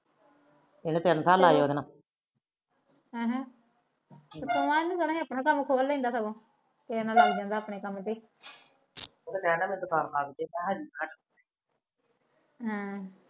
ਇਹਨੇ ਤਿੰਨ ਸਾਲ ਲਾਇਆ ਉਹਦੇ ਨਾਲ ਹਮ ਆਪਣਾ ਕੰਮ ਖੋਲ ਲੈਂਦਾ ਰਹਿਣਾ ਤਾ ਦਕਾਤ ਤੇ ਹਮ